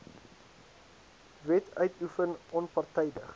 wet uitoefen onpartydig